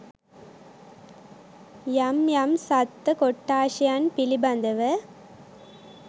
යම් යම් සත්ව කොට්ඨාශයන් පිළිබඳව